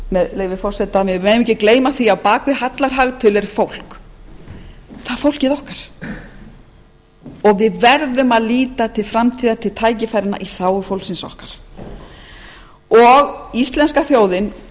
með leyfi forseta við megum ekki gleyma því að á bak við allar hagtölur er fólk það er fólkið okkar og við verðum að líta til framtíðar til tækifæranna í þágu fólksins okkar íslenska þjóðin